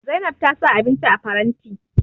Zainab ta sa abinci a faranti